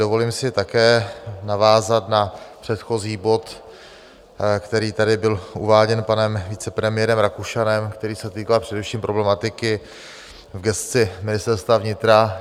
Dovolím si také navázat na předchozí bod, který tady byl uváděn panem vicepremiérem Rakušanem, který se týkal především problematiky v gesci Ministerstva vnitra.